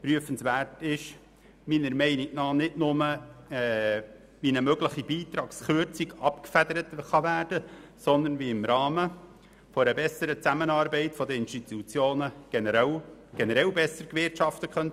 Prüfenswert ist meiner Meinung nach nicht nur, wie eine mögliche Beitragskürzung abgefedert werden kann, sondern wie im Rahmen einer besseren Zusammenarbeit der Institutionen generell besser gewirtschaftet werden könnte.